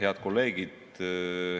Head kolleegid!